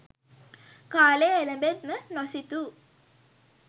කාලය එළැඹෙත්ම නොසිතූ